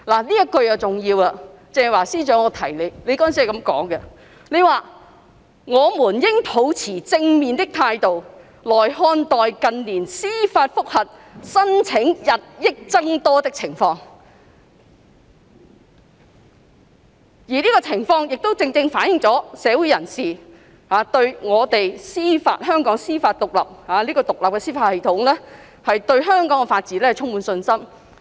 "——這一句很重要，鄭若驊司長，你當時是這樣說的——"我們應抱持正面的態度來看待近年司法覆核申請日益增多的情況；而這情況亦正正反映了社會人士對我們獨立的司法系統，亦即對香港的法治充滿信心。